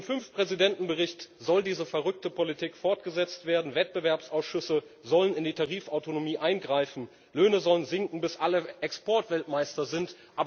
Mit dem Bericht der fünf Präsidenten soll diese verrückte Politik fortgesetzt werden Wettbewerbsausschüsse sollen in die Tarifautonomie eingreifen, Löhne sollen sinken, bis alle Exportweltmeister sind.